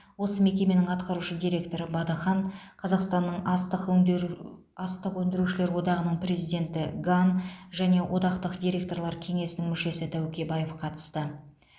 осы мекеменің атқарушы директоры бадыхан қазақстанның астық өңдеу астық өңдеушілер одағының президенті ган және одақтың директорлар кеңесінің мүшесі тәукебаев қатысты